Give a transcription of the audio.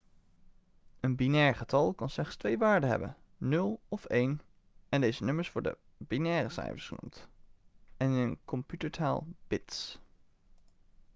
een binair getal kan slechts twee waarden hebben 0 of 1 en deze nummers worden binaire cijfers genoemd en in computertaal 'bits'